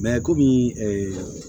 kɔmi